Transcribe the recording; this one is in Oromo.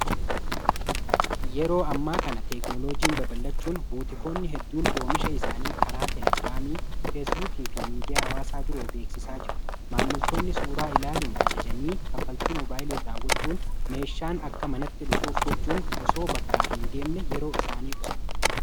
Yeroo ammaa kana teeknoloojiin baballachuun buutikoonni hedduun oomisha isaanii karaa telegiraamii, feesbuukii fi miidiyaa hawaasaa biroon beeksisaa jiru. maammiltoonni suuraa ilaaluun ajajanii kaffaltii mobaayilii raawwachuun meeshaan akka manatti dhufuuf gochuun osoo bakkaa hin deemin yeroo isaanii qusatu.